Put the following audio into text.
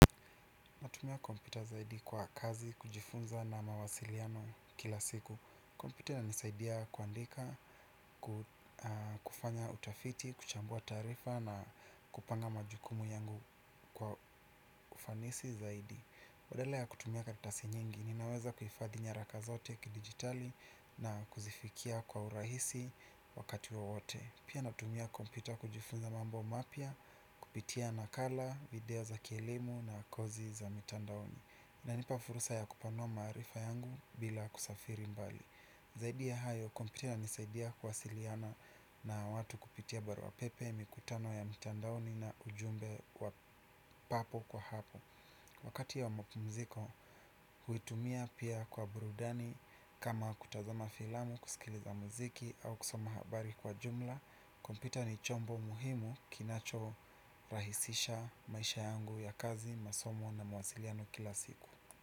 Pia natumia kompyuta zaidi kwa kazi, kujifunza na mawasiliano kila siku. Kompyuta nanisaidia kuandika, kufanya utafiti, kuchambua taarifa na kupanga majukumu yangu kwa ufanisi zaidi. Badala ya kutumia karatasi nyingi, ninaweza kuifadhi nyaraka zote kidigitali na kuzifikia kwa urahisi wakati wowote. Pia natumia kompyuta kujifunza mambo mapya, kupitia nakala, video za kielimu na kozi za mitandaoni. Nanipa fursa ya kupanua maarifa yangu bila kusafiri mbali. Zaidi ya hayo, kompyuta ananisaidia kuwasiliana na watu kupitia barua pepe, mikutano ya mtandaoni na ujumbe wa papo kwa hapo. Wakati ya mpumziko, huitumia pia kwa burudani kama kutazama filamu, kusikiliza muziki au kusoma habari kwa jumla. Kompyuta ni chombo muhimu kinacho rahisisha maisha yangu ya kazi, masomo na mawasiliano kila siku.